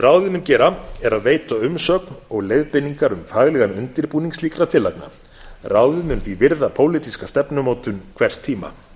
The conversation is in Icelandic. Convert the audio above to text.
mun gera er að veita umsögn og leiðbeiningar um faglegan undirbúning slíkra tillagna ráðið mun því virða pólitíska stefnumótun hvers tíma